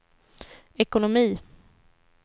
ekonomi